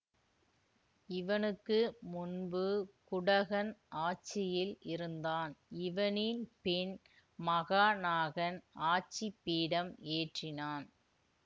இவனுக்கு முன்பு குடகன் ஆட்சியில் இருந்தான் இவனின் பின் மகாநாகன் ஆட்சிபீடம் ஏற்றினான்